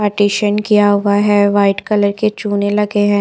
Partition किया हुआ है व्हाइट कलर के चुने लगे है।